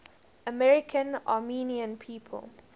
american armenian people